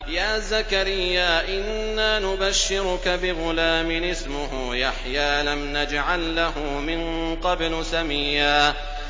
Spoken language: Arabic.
يَا زَكَرِيَّا إِنَّا نُبَشِّرُكَ بِغُلَامٍ اسْمُهُ يَحْيَىٰ لَمْ نَجْعَل لَّهُ مِن قَبْلُ سَمِيًّا